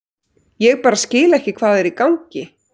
Ég bara skil ekki hvað er í gangi.